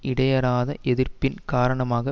இடையராத எதிர்ப்பின் காரணமாக